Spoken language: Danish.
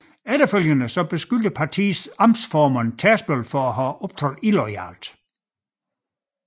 Efterfølgende beskyldte partiets amtsformand Tærsbøl for at have optrådt illoyalt